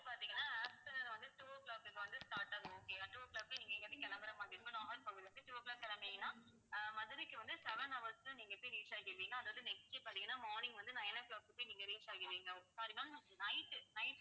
பாத்தீங்கன்னா after வந்து two o'clock இங்க வந்து start ஆகும் okay யா two o'clock நீங்க இங்கிருந்து கிளம்புற மாதிரி இருக்கும் நாகர்கோவிலிலிருந்து two o'clock கிளம்புனீங்கன்னா ஆஹ் மதுரைக்கு வந்து seven hours ல நீங்க எப்படியும் reach ஆயிடுவீங்க அதாவது next பார்த்தீங்கன்னா morning வந்து nine o'clock க்கு நீங்க reach ஆகிடுவீங்க. sorry ma'am night